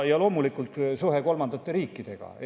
Ja loomulikult suhe kolmandate riikidega.